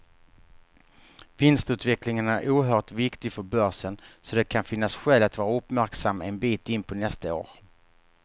Vinstutvecklingen är oerhört viktig för börsen, så det kan finnas skäl att vara uppmärksam en bit in på nästa år.